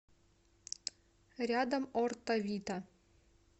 рядом орто вита